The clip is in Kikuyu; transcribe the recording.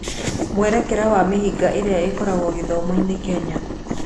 Mwerekera wa mĩhĩnga ĩrĩa ĩkoragwo gĩthomo-inĩ Kenya.